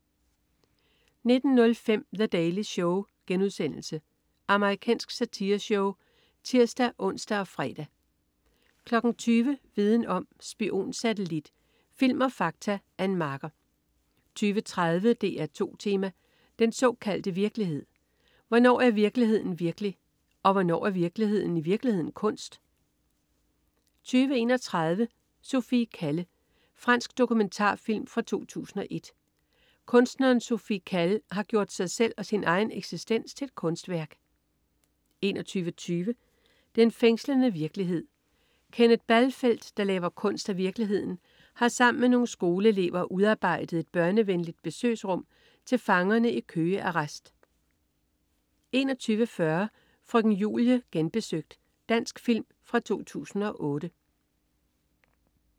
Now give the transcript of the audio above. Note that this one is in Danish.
19.05 The Daily Show.* Amerikansk satireshow (tirs-ons og fre) 20.00 Viden om: Spionsatellit. Film og fakta. Ann Marker 20.30 DR2 Tema: Den såkaldte virkelighed. Hvornår er virkeligheden virkelig, og hvornår er virkeligheden i virkeligheden kunst? 20.31 Sophie Calle. Fransk dokumentarfilm fra 2007. Kunstneren Sophie Calle har gjort selve sin egen eksistens til et kunstværk 21.20 Den fængslende virkelighed. Kenneth Balfelt, der laver kunst af virkeligheden har sammen med nogle skoleelever udarbejdet et børnevenligt besøgsrum til fangerne i Køge Arrest 21.40 Frøken Julie Genbesøgt. Dansk film fra 2008